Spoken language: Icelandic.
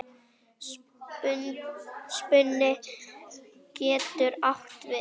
Spuni getur átt við